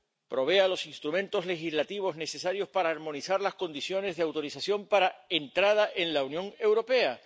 provea los instrumentos legislativos necesarios para armonizar las condiciones de autorización para entrada en la Unión Europea.